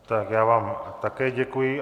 Tak já vám také děkuji.